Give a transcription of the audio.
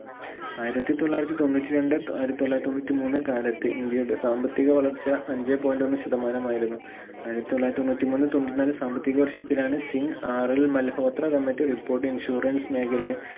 ആയിരത്തി തൊള്ളായിരത്തി തൊണ്ണൂറ്റിരണ്ട്‍ ആയിരത്തി തൊള്ളായിരത്തി തൊണ്ണൂറ്റിമൂന്ന് കാലത്ത് ഇന്ത്യയുടെ സാമ്പത്തിക വളർച്ച അഞ്ചേ point ഒന്ന് ശതമാനമായിരുന്നു ആയിരത്തി തൊള്ളായിരത്തി തൊണ്ണൂറ്റിമൂന്ന് തൊണ്ണൂറ്റി നാല് സാമ്പത്തിക വർഷത്തിലാണ് സിംഗ് ആറിൽ മൽഹോത്ര committee report insurance മേഖല